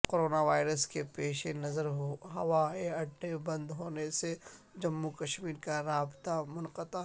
corona virus کے پیش نظر ہوائے اڈے بند ہونے سے جموں کشمیر کا رابطہ منقطع